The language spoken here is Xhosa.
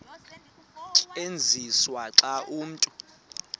tyenziswa xa umntu